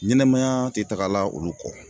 Ɲɛnɛmaya te tagala olu kɔ.